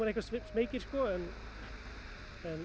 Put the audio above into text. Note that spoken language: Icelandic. smeykir en